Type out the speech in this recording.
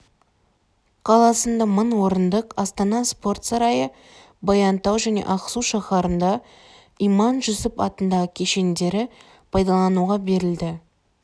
қаласында мың орындық астана спорт сарайы баянтау және ақсу шаһарында иманжүсіп атындағы кешендері пайдалануға берілді